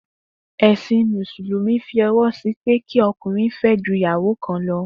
È̩sìn Mùsùlùmí fí o̩wó̩ sí i pé kí o̩kùnrin fé̩ ju ìyàwó kan lo̩